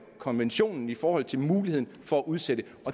konventionen i forhold til muligheden for at udsætte